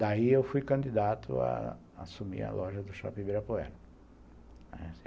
Daí eu fui candidato a assumir a loja do Shopping Ibirapuera.